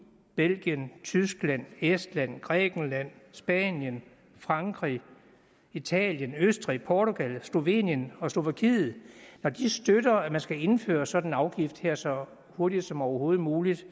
belgien tyskland estland grækenland spanien frankrig italien østrig portugal slovenien og slovakiet der støtter at man skal indføre en sådan afgift her så hurtigt som overhovedet muligt